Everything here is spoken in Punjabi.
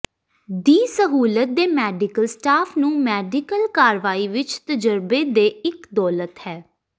ਦੀ ਸਹੂਲਤ ਦੇ ਮੈਡੀਕਲ ਸਟਾਫ ਨੂੰ ਮੈਡੀਕਲ ਕਾਰਵਾਈ ਵਿੱਚ ਤਜਰਬੇ ਦੇ ਇੱਕ ਦੌਲਤ ਹੈ